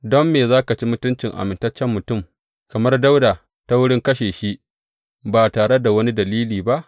Don me za ka ci mutuncin amintaccen mutum kamar Dawuda ta wurin kashe shi ba tare da wani dalili ba?